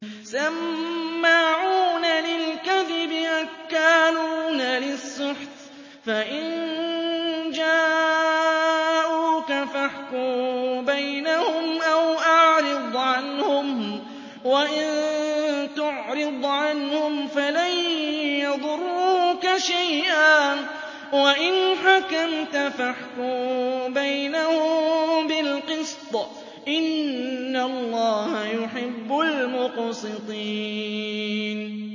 سَمَّاعُونَ لِلْكَذِبِ أَكَّالُونَ لِلسُّحْتِ ۚ فَإِن جَاءُوكَ فَاحْكُم بَيْنَهُمْ أَوْ أَعْرِضْ عَنْهُمْ ۖ وَإِن تُعْرِضْ عَنْهُمْ فَلَن يَضُرُّوكَ شَيْئًا ۖ وَإِنْ حَكَمْتَ فَاحْكُم بَيْنَهُم بِالْقِسْطِ ۚ إِنَّ اللَّهَ يُحِبُّ الْمُقْسِطِينَ